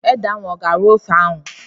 Ede ahụ ọ ga-arọ ofe ahụ?